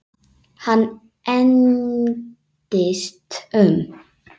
Hann engdist um.